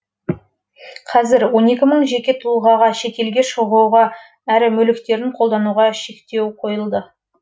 қазір он екі мың жеке тұлғаға шетелге шығуға әрі мүліктерін қолдануға шектеу қойылды